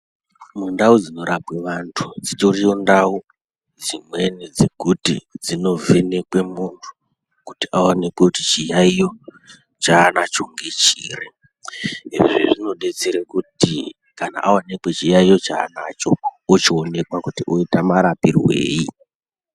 Mundau dzinorapwe muntu dzitoriyo ndau dzimweni dsekuti dzinovhenekwe muntu kuti aonekwe kuti chiyaiyo chaanacho ngechiri kuti aonekwe chiyaiyo chaanacho ochionekwankuti oitwa marapirwei.